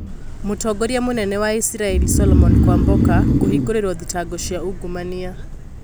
Mũtongoria mũnene wa Isiraĩri solomon kwambuka kũhĩngũrĩrwo thitango cia ungumania